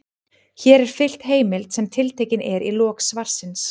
Hér er fylgt heimild sem tiltekin er í lok svarsins.